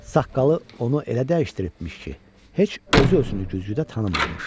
Saqqalı onu elə dəyişdiribmiş ki, heç özü özünü güzgüdə tanımırmış.